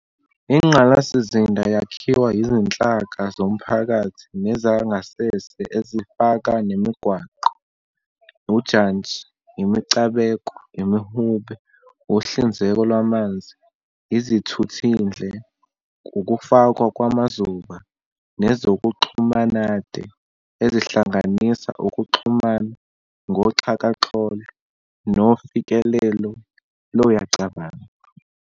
Ingqalasizinda yakhiwa izinhlaka zomphakathi nezangasese ezifana nemigwaqo, ujantshi, imicabeko, imihube, uhlinzeko lwamanzi, izithuthindle, ukufakwa kwamazuba, nezokuxhumanade, ezihlanganisa ukuxhumana ngoxhakaxholo nofikelelo loyacabanzi.